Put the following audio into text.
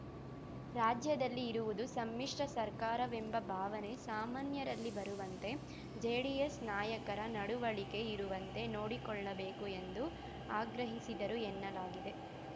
ರಾಜ್ಯದಲ್ಲಿ ಇರುವುದು ಸಮ್ಮಿಶ್ರ ಸರ್ಕಾರವೆಂಬ ಭಾವನೆ ಸಾಮಾನ್ಯರಲ್ಲಿ ಬರುವಂತೆ ಜೆಡಿಎಸ್‌ ನಾಯಕರ ನಡವಳಿಕೆ ಇರುವಂತೆ ನೋಡಿಕೊಳ್ಳಬೇಕು ಎಂದು ಆಗ್ರಹಿಸಿದರು ಎನ್ನಲಾಗಿದೆ